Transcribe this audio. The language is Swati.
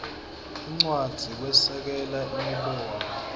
incwadzi kwesekela imibono